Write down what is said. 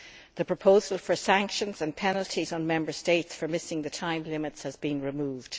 The proposal for sanctions and penalties on Member States for missing the time limits has been removed.